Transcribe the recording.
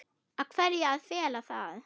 Af hverju að fela það?